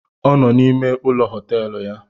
Ọ nọ n’ime ụlọ họtelụ ya